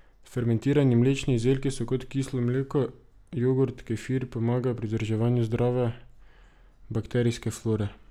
Fermentirani mlečni izdelki, kot so kislo mleko, jogurt, kefir, pomagajo pri vzdrževanju zdrave bakterijske flore.